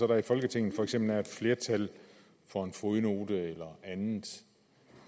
der i folketinget for eksempel er et flertal for en fodnote eller noget andet